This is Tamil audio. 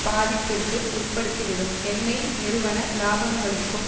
பாதிப்பிற்கு உட்படுத்திவிடும் எண்ணெய் நிறுவன இலாபங்களுக்கும்